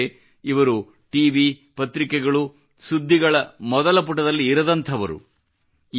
ಏಕೆಂದರೆ ಇವರು T V ಪತ್ರಿಕೆಗಳು ಅಥವಾ ಸುದ್ದಿಗಳ ಮೊದಲ ಪುಟದಲ್ಲಿ ಇರದಂಥವರು